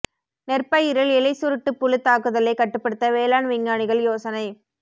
நெற் பயிரில் இலை சுருட்டு புழு தாக்குதலைக் கட்டுப்படுத்த வேளாண் விஞ்ஞானிகள் யோசனை